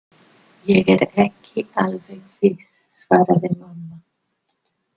Ég er ekki alveg viss svaraði mamma.